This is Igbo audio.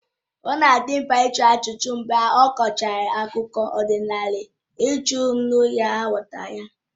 Ọ na adị mkpa ịjụ ajụjụ mgbe a kọchara akụkọ ọdịnala iji hụ na a ghọtara ya